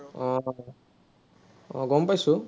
আহ আহ গম পাইছো।